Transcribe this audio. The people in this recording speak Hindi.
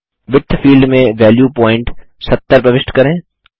विड्थ फील्ड में वेल्यू प्वांइट 70 प्रविष्ट करें